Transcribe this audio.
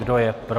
Kdo je pro?